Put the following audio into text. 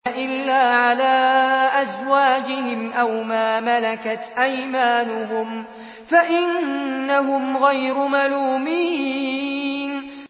إِلَّا عَلَىٰ أَزْوَاجِهِمْ أَوْ مَا مَلَكَتْ أَيْمَانُهُمْ فَإِنَّهُمْ غَيْرُ مَلُومِينَ